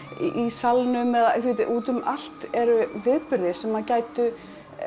Salnum þið vitið út um allt eru viðburðir sem gætu